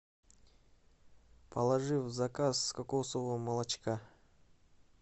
положи в заказ кокосового молочка